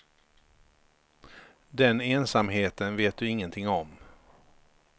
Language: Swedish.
Den ensamheten vet du ingenting om.